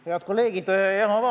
Head kolleegid!